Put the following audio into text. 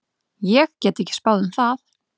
Ég get ekki spáð um það.